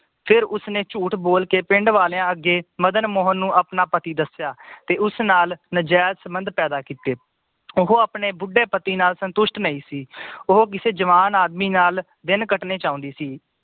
ਫਿਰ ਉਸਨੇ ਝੂਠ ਬੋਲ ਕੇ ਪਿੰਡ ਵਾਲਿਆਂ ਅੱਗੇ ਮਦਨ ਮੋਹਨ ਨੂੰ ਆਪਣਾ ਪਤੀ ਦੱਸਿਆ ਤੇ ਉਸ ਨਾਲ ਨਾਜਾਇਜ਼ ਸੰਬੰਧ ਪੈਦਾ ਕੀਤੇ ਉਹ ਆਪਣੇ ਬੁੱਢੇ ਪਤੀ ਨਾਲ ਸੰਤੁਸ਼ਟ ਨਈ ਸੀ ਉਹ ਕਿਸੇ ਜਵਾਨ ਆਦਮੀ ਨਾਲ ਦਿਨ ਕੱਟਣੇ ਚਾਹੁੰਦੀ ਸੀ